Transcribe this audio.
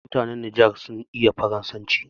Yawanci mutan Niger sun iya Faransanci.